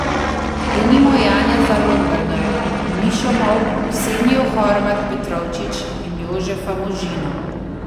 Denimo Janeza Lombergarja, Mišo Molk, Ksenijo Horvat Petrovčič in Jožefa Možino.